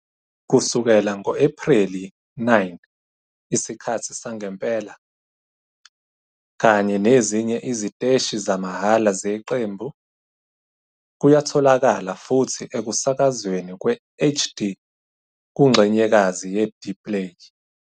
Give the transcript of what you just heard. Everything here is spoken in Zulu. Kusukela ngo-Ephreli 9 Isikhathi Sangempela, kanye nezinye iziteshi zamahhala zeqembu, kuyatholakala futhi ekusakazweni kwe- HD kungxenyekazi yeDplay.